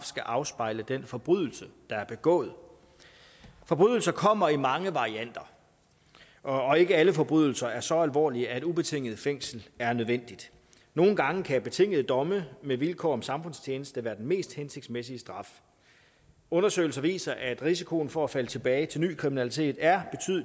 skal afspejle den forbrydelse der er begået forbrydelser kommer i mange varianter og ikke alle forbrydelser er så alvorlige at ubetinget fængsel er nødvendigt nogle gange kan betingede domme med vilkår om samfundstjeneste være den mest hensigtsmæssige straf undersøgelser viser at risikoen for at falde tilbage til ny kriminalitet er